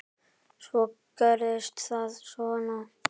Svo gerist það svona.